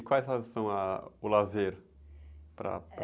E quais as, são, ah, o lazeres? Para, para...